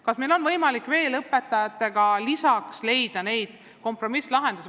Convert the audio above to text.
Kas meil on võimalik koos õpetajatega leida veel mõningaid kompromisslahendusi?